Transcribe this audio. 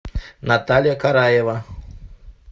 наталья караева